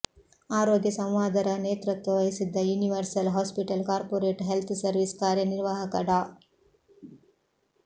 ಅರೋಗ್ಯ ಸಂವಾದ ರ ನೇತ್ರತ್ವ ವಹಿಸಿದ್ದ universal hospital corporate health service ಕಾರ್ಯ ನಿರ್ವಾಹಕ ಡಾ